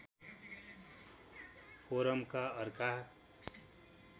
फोरमका अर्का